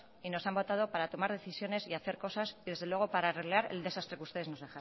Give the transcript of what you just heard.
y nos han votado para tomar decisiones y hacer cosas que desde luego para arreglar el desastre que ustedes nos